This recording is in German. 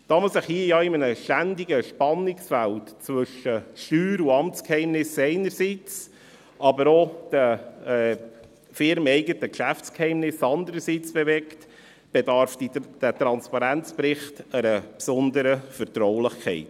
Da man sich hier ja in einem ständigen Spannungsfeld bewegt zwischen Steuer- und Amtsgeheimnis einerseits, aber auch den firmeneigenen Geschäftsgeheimnissen andererseits, bedarf der Transparenzbericht einer besonderen Vertraulichkeit.